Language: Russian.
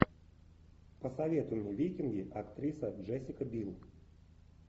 посоветуй мне викинги актриса джессика бил